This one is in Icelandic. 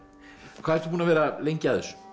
hvað ertu búinn að vera lengi að þessu